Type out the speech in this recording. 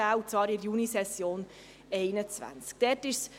Diese wird in der Junisession 2021 stattfinden.